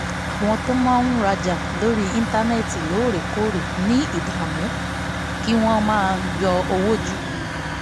àwọn tó máa ń rajà lórí íńtánẹ́ẹ̀tì lóòrèkóòrè ní ìdààmú kí wọ́n máa ń yọ owó jù